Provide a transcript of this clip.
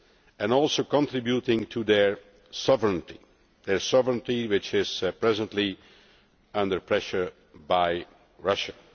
and also contributing to their sovereignty, their sovereignty which is presently under pressure from Russia.